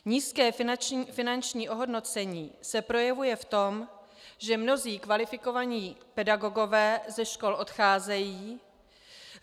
Nízké finanční ohodnocení se projevuje v tom, že mnozí kvalifikovaní pedagogové ze škol odcházejí.